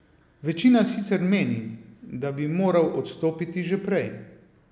Večina sicer meni, da bi moral odstopiti že prej.